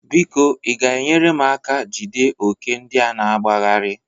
Biko ị ga-enyere m aka jide ókè ndịa na-agbagharị?